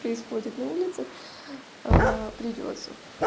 происходит на улицах придётся